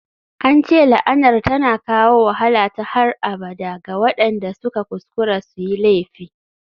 An ce la'anar tana kawo wahala ta har abada ga waɗanda suka kuskura su yi laifi.